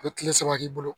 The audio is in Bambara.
A bɛ kile saba k'i bolo